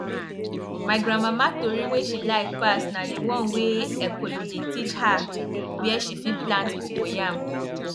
my grandmama tori wey she like pass na d one wey ekolo dey teach her where she fit plant cocoyam